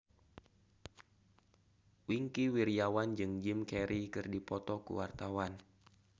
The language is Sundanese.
Wingky Wiryawan jeung Jim Carey keur dipoto ku wartawan